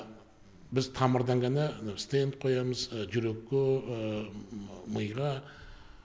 біз тамырдан ғана мынау стэнд қоямыз жүрекке мыйға